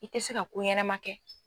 I tɛ se ka ko ɲɛnama kɛ.